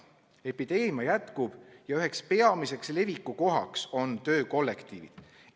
Epideemia jätkub ja üheks peamiseks levikukohaks on töökollektiivid.